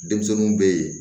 Denmisɛnninw bɛ yen